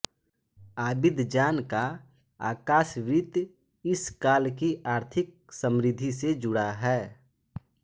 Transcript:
Abidjan का आकाश वृत्त इस काल की आर्थिक समृद्धि से जुड़ा है